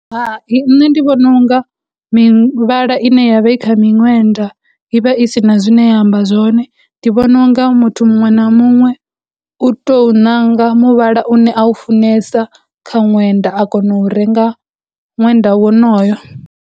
Nṋe ndi vhona unga mivhala ine yavha i kha minwenda i vha i si na zwine ya amba zwone, ndi vhona u nga muthu muṅwe na muṅwe u tou ṋanga muvhala une a u funesa kha ṅwenda a kona u renga ṅwenda wonoyo.